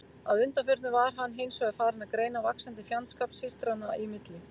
Að undanförnu var hann hins vegar farinn að greina vaxandi fjandskap systranna í milli.